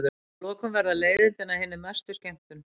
Að lokum verða leiðindin að hinni mestu skemmtun.